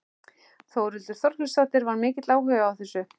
Þórhildur Þorkelsdóttir: Var mikill áhugi á þessu?